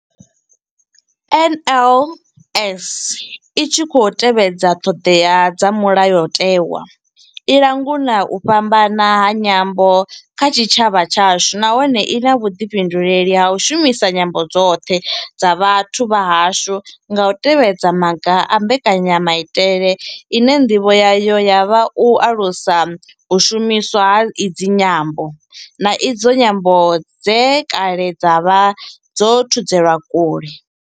NLS I tshi khou tevhedza ṱhodea dza mulayotewa, i langula u fhambana ha nyambo kha tshitshavha tshashu nahone I na vhuḓifhinduleli ha u shumisa nyambo dzoṱhe dza vhathu vha hashu nga u tevhedza maga a mbekanyamaitele ine ndivho yayo ya vha u alusa u shumiswa ha idzi nyambo, na idzo nyambo dze kale dza vha dzo thudzelwa kule.